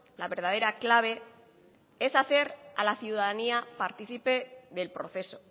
la verdadera clave es hacer a la ciudadanía partícipe del proceso